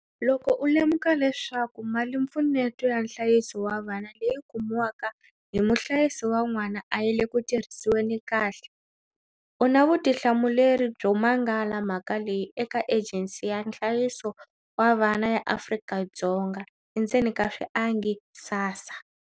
Loko u lemuka leswaku malimpfuneto ya nhlayiso wa vana leyi kumiwaka hi muhlayisi wa n'wana a yi le ku tirhisiweni kahle, u na vutihlamuleri byo mangala mhaka leyi eka Ejensi ya Nhlayiso wa Vanhu ya Afrika Dzo nga, SASSA.